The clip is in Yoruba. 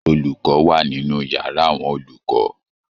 Olùkọ wà nínú yàrá àwọn olùkọ.